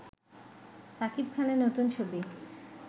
সাকিব খানের নতুন ছবি